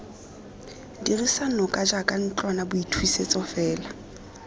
dirisa noka jaaka ntlwanaboithusetso fela